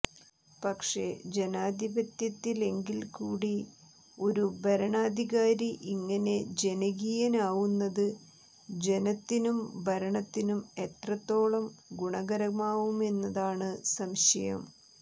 പക്ഷെ ജനാധിപത്യത്തിലെങ്കില് കൂടി ഒരു ഭരണാധികാരി ഇങ്ങനെ ജനകീയനാവുന്നത് ജനത്തിനും ഭരണത്തിനും എത്രത്തോളം ഗുണകരമാവുമെന്നതാണ് സംശയം